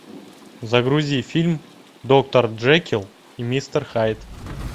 загрузи фильм доктор джекилл и мистер хайд